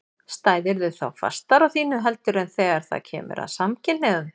Stæðirðu þá fastar á þínu heldur en þegar það kemur að samkynhneigðum?